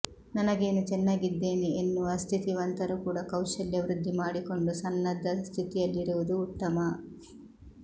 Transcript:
ನನಗೇನು ಚೆನ್ನಾಗಿದ್ದೇನೆ ಎನ್ನುವ ಸ್ಥಿತಿವಂತರೂ ಕೂಡ ಕೌಶಲ್ಯ ವೃದ್ಧಿ ಮಾಡಿಕೊಂಡು ಸನ್ನದ್ಧ ಸ್ಥಿತಿಯಲ್ಲಿರುವುದು ಉತ್ತಮ